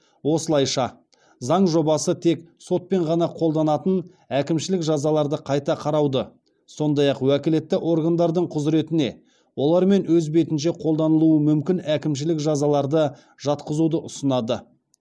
осылайша заң жобасы тек сотпен ғана қолданатын әкімшілік жазаларды қайта қарауды сондай ақ уәкілетті органдардың құзыретіне олармен өз бетінше қолданылуы мүмкін әкімшілік жазаларды жатқызуды ұсынады